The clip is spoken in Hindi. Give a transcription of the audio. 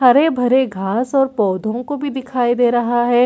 हरे-भरे घास और पौधों को भी दिखाई दे रहा है।